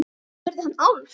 spurði hann Álf.